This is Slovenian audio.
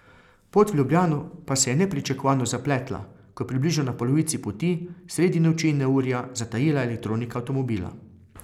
Pot v Ljubljano pa se je nepričakovano zapletla, ko je približno na polovici poti, sredi noči in neurja, zatajila elektronika avtomobila.